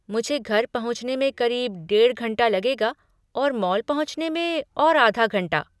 मुझे घर पहुँचने में करीब डेढ़ घंटा लगेगा और मॉल पहुँचने में और आधा घंटा।